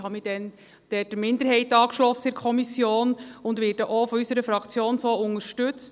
Ich habe mich damals in der Kommission der Minderheit angeschlossen und werde auch von unserer Fraktion so unterstützt.